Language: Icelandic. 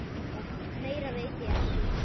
Meira veit ég ekki.